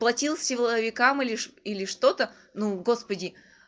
платил силовикам или что или что-то ну господи